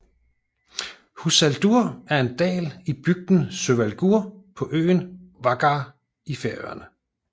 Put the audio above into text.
Húsadalur er en dal i bygden Sørvágur på øen Vágar i Færøerne